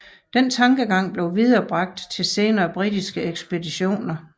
Denne tankegang blev viderebragt til senere britiske ekspeditioner